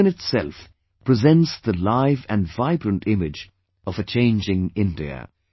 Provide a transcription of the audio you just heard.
This in itself presents the live and vibrant image of a changing India